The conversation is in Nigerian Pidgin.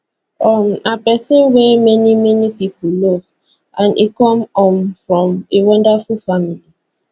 um na pesin wey many many pipo love and e come um from a wonderful family